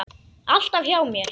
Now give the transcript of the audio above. Alltaf hjá mér.